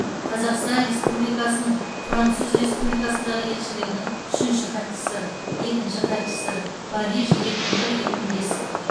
қазақстан республикасының француз республикасындағы елшілігінің үшінші хатшысы екінші хатшысы париж екі мың бір екі мың бес